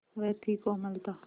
वह थी कोमलता